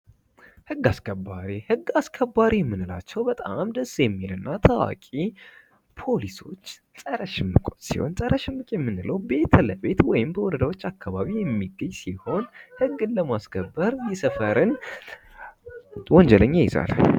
ህግ አስከባሪ ፦ ህግ አስከባሪ የምንላቸው በጣም ደስ የሚልና ታዋቂ ፖሊሶች ፣ ፀረ ሽምቆች ሲሆን ፀረ ሽምቅ የምንለው ቤት ለቤት ወይም በወረዳዎች አካባቢ የሚገኝ ሲሆን ህግን ለማስከበር የሰፈርን ወንጀለኛ ይይዛል ።